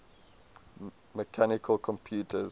mechanical computers